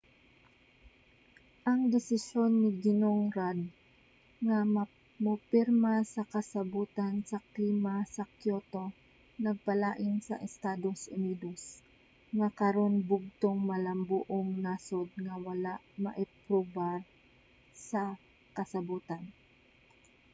ang desisyon ni ginong rudd nga mopirma sa kasabotan sa klima sa kyoto nagpalain sa estados unidos nga karon bugtong malambuong nasod nga wala miaprubar sa kasabotan